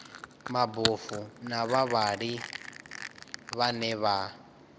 mabofu na vhavhali vhane vha